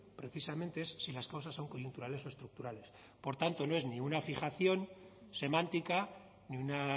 precisamente es si las cosas son coyunturales o estructurales por tanto no es ni una fijación semántica ni una